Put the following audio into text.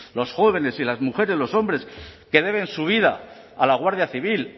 los jóvenes y las mujeres los hombres que deben su vida a la guardia civil